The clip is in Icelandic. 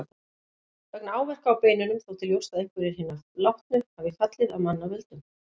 Vegna áverka á beinunum þótti ljóst að einhverjir hinna látnu hafi fallið af manna völdum.